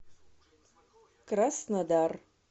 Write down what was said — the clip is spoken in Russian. краснодар